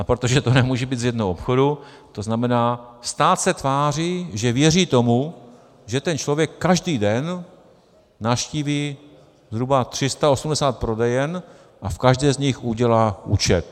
A protože to nemůže být z jednoho obchodu, to znamená, stát se tváří, že věří tomu, že ten člověk každý den navštíví zhruba 380 prodejen a v každé z nich udělá účet.